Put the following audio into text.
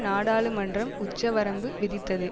நாடாளுமன்றம் உச்ச வரம்பு விதித்தது